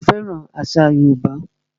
Ṣé o fẹ́ràn àṣà yóòbá?